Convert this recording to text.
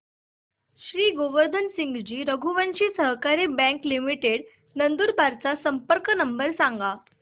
श्री गोवर्धन सिंगजी रघुवंशी सहकारी bank limited Nandurbar चा संपर्क नंबर सांगा